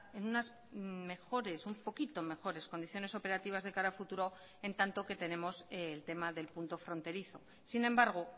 en unas mejores un poquito mejores condiciones operativas de cara a futuro en tanto que tenemos el tema del punto fronterizo sin embargo